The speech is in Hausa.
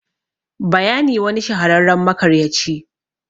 bayani. wani shahararren makaryaci